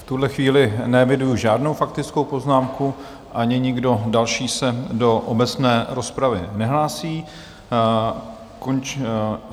V tuhle chvíli neeviduji žádnou faktickou poznámku, ani nikdo další se do obecné rozpravy nehlásí.